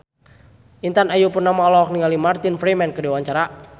Intan Ayu Purnama olohok ningali Martin Freeman keur diwawancara